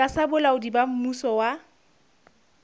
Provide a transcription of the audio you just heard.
tlasa bolaodi ba mmuso wa